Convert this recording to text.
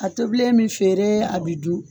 A tobilen mi feere a bi dun